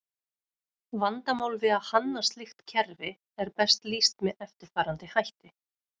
Vandamál við að hanna slíkt kerfi er best lýst með eftirfarandi hætti.